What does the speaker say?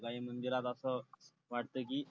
काही मंदिरात असं वाटतं की